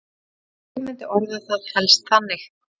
Ég myndi orða það helst þannig.